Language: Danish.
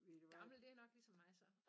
Gammel det er nok ligesom mig så